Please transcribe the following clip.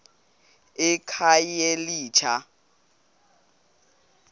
ekhayelitsha